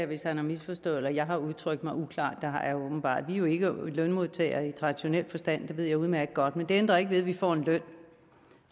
hvis han har misforstået det eller jeg har udtrykt mig uklart det har jeg jo åbenbart vi er jo ikke lønmodtagere i traditionel forstand det ved jeg udmærket godt men det ændrer ikke ved at vi får en løn